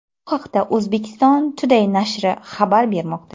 Bu haqda Uzbekistan Today nashri xabar bermoqda .